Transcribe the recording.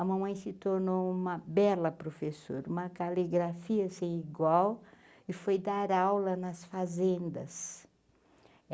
A mamãe se tornou uma bela professora, uma caligrafia sem igual e foi dar aula nas fazendas.